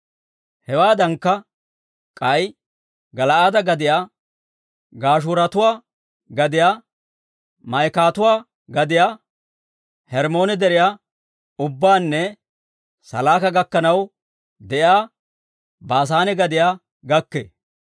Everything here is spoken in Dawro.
Hewaadankka, k'ay Gala'aade gadiyaa, Gashuuratuwaa gadiyaa, Maa'ikatuwaa gadiyaa, Hermmoone Deriyaa ubbaanne Salaaka gakkanaw de'iyaa Baasaane gadiyaa gakkee.